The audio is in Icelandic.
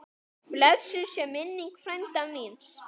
Blessuð sé minning frænda míns.